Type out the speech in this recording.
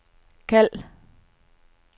kald